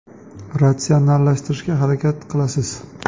Ratsionallashtirishga harakat qilasiz.